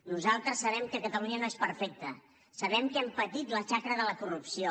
nosaltres sabem que catalunya no és perfecta sabem que hem patit la xacra de la corrupció